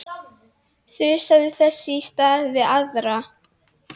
Þusaði þess í stað við aðra.